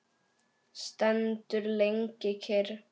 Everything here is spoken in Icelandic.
Stendur lengi kyrr.